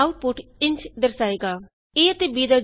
output ਇੰਝ ਦਰਸਾਏਗਾ160 a ਅਤੇ b ਦਾ ਜੋੜ 9 ਹੈ